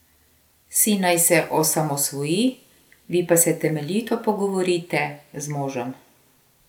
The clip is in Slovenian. Sin naj se osamosvoji, vi pa se temeljito pogovorite z možem!